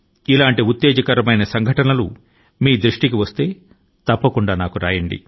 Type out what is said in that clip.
అటువంటి ఉత్తేజకర సంఘటన లు మీ దృష్టి కి వస్తే వాటి ని గురించి వ్రాసి నాకు పంపండి